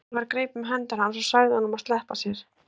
Sævar greip um hendur hans og sagði honum að sleppa sér.